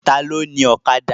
Ta ló ni Ọ̀kadà?